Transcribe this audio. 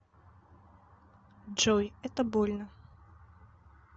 джой это больно